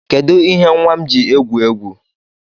Kedụ ihe nwa m ji egwu egwu?